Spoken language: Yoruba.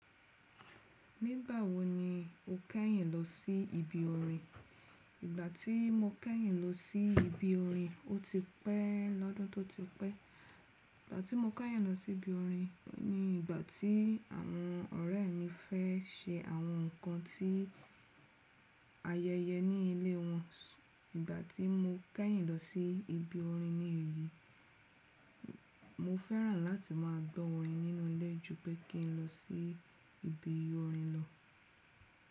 Nígbà wo ni o kẹ́yìn lọ sí ibi orin? Ìgbà tí mo kẹ́yìn lọ sí ibi orin, ó ti pẹ́ lọ́dún tó ti pẹ́. Ìgbà tí mo kẹ́yìn lọ sí ibi orin ni ìgbà tí àwọn ọ̀rẹ́ mi fẹ́ se àwọn nǹkan tí ayẹyẹ ní ilé wọn. Ìgbà tí mo kẹ́yìn lọ sí ibi orin ní èyí, mo fẹ́ràn láti má a gbọ́ orin nínú ilé ju pé kí n lọ sí ibi orin lọ.